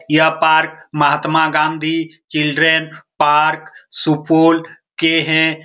यह park Mahatma Gandhi children park Supaul के हैं।